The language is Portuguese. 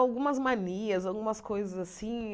Algumas manias, algumas coisas assim.